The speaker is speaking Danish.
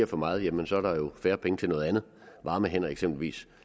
for meget jamen så er der jo færre penge til noget andet varme hænder eksempelvis